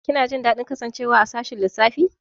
Kina jin daɗin kasancewa a sashin lissafi?